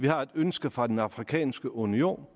har et ønske fra den afrikanske union